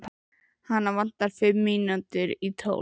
Hana vantar fimm mínútur í tólf